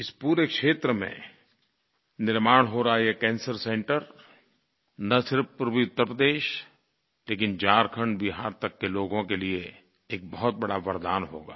इस पूरे क्षेत्र में निर्माण हो रहा है एक कैंसर सेंटर न सिर्फ़ पूर्वी उत्तरप्रदेश लेकिन झारखण्डबिहार तक के लोगों के लिये एक बहुत बड़ा वरदान होगा